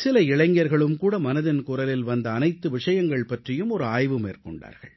சில இளைஞர்களும் கூட மனதின் குரலில் வந்த அனைத்து விஷயங்கள் பற்றியும் ஒரு ஆய்வு மேற்கொண்டார்கள்